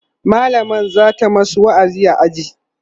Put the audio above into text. mallamar zata masu wa'azi a aji